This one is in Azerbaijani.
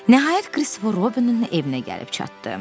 Nəhayət Kristofer Robinin evinə gəlib çatdı.